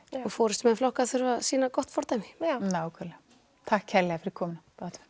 og forystumenn flokka þurfa að sýna gott fordæmi nákvæmlega takk kærlega fyrir komuna